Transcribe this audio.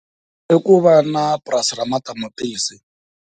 I ku va na purasi ra matamatisi.